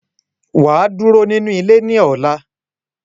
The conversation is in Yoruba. Waa duro ninu ile ni ola.